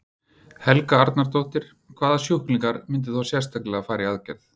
Helga Arnardóttir: Hvaða sjúklingar myndu þá sérstaklega fara í aðgerð?